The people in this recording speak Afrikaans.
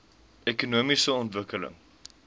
ekonomiese ontwikkeling